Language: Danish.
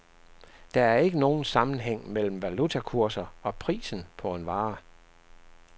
Der er ikke nogen sammenhæng mellem valutakurser og prisen på en vare.